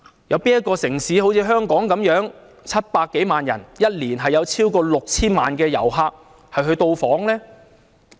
有哪個城市好像香港般有700多萬人口，每年有超過 6,000 萬旅客到訪呢？